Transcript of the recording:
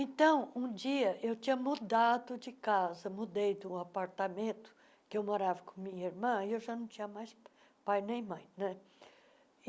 Então, um dia, eu tinha mudado de casa, mudei de um apartamento, que eu morava com minha irmã, e eu já não tinha mais pai nem mãe né. e